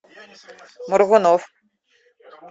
маргунов